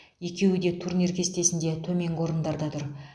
екеуі де турнир кестесінде төменгі орындарда тұр